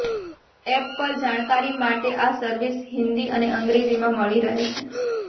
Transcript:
app પર જાણકારી માટે આ સર્વિસ હિંદી અને અંગ્રેજીમાં મળી રહે છે